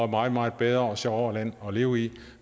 meget meget bedre og sjovere land at leve i